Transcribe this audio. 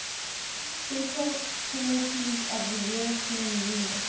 special territories of the european union